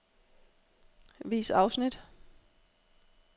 Vis afsnit.